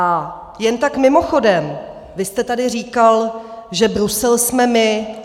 A jen tak mimochodem - vy jste tady říkal, že Brusel jsme my.